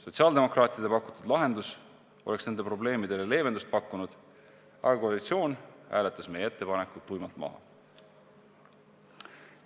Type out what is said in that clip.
Sotsiaaldemokraatide pakutud lahendus oleks nende probleemidele leevendust pakkunud, aga koalitsioon hääletas meie ettepaneku tuimalt maha.